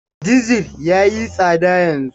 Dizir ya yi tsada yanzu.